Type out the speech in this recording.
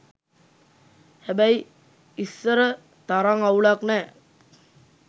හැබැයි ඉස්සර තරං අවුලක් නෑ